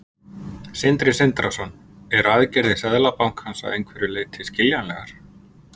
Sindri Sindrason: Eru aðgerðir Seðlabankans að einhverju leyti skiljanlegar?